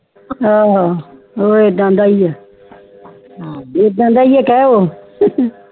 ਹਾਂ ਊ ਐਡਾ ਦਾ ਹੀ ਹੈ ਇੱਦਾ ਦਾ ਹੀ ਕਹਿ ਊ